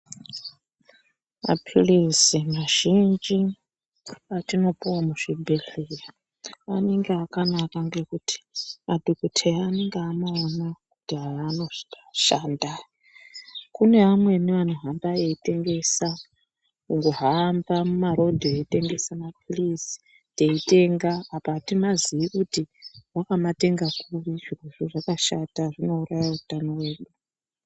Mapilizi mazhinji atinopuwa muzvibhedhlera anenge akanaka ngekuti madhokodheya anenge amaona kuti aya anoshanda. Kuneamweni vanohamba veitengesa, kuhamba muma rodhi veitengesa mapilizi teitenga apa atimazivi kuti wakamatenga kuri. Izvozvo zvakashata zvinouraya utano hwedu.